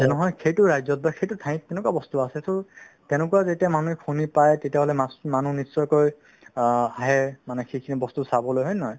এই নহয় সেইতো ৰাজ্যত বা সেইতো ঠাইত তেনেকুৱা বস্তু আছে to তেনেকুৱা যেতিয়া মানুহে শুনি পাই তেতিয়াহ'লে মাচ~ মানুহ নিশ্চয়কৈ অ আহে মানে সেইখিনি বস্তু চাবলৈ হয় নে নহয়